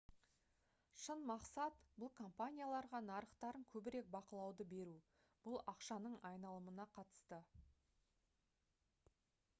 шын мақсат бұл компанияларға нарықтарын көбірек бақылауды беру бұл ақшаның айналымына қатысты